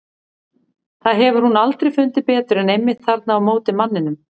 Það hefur hún aldrei fundið betur en einmitt þarna á móti manninum.